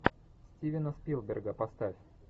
стивена спилберга поставь